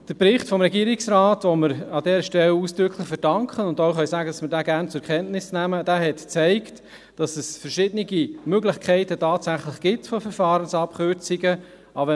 Der Bericht des Regierungsrates, den wir an dieser Stelle ausdrücklich verdanken und auch sagen, dass wir diesen gerne zur Kenntnis nehmen, zeigt, dass es tatsächlich verschiedene Möglichkeiten von Verfahrensabkürzungen gibt.